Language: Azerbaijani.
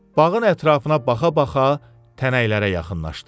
Bağın ətrafına baxa-baxa tənəklərə yaxınlaşdı.